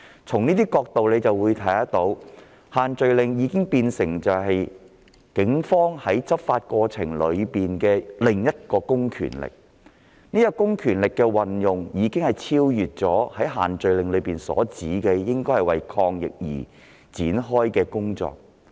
從這個角度，可見限聚令已變成警方執法過程中的另一公權力，而這種公權力的運用已超越限聚令所訂，為抗疫而展開的工作。